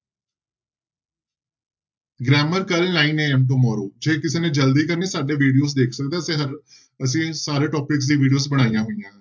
Grammar ਕੱਲ੍ਹ nine AM tomorrow ਜੇ ਕਿਸੇ ਨੇ ਜ਼ਲਦੀ ਕਰਨੀ ਸਾਡੇ videos ਦੇਖ ਸਕਦੇ ਹੋ ਤੇ ਹਰ, ਅਸੀਂ ਸਾਰੇ topics ਦੀ videos ਬਣਾਈਆਂ ਹੋਈਆਂ।